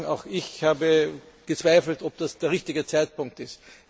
Ich muss sagen, auch ich habe gezweifelt, ob das der richtige Zeitpunkt ist.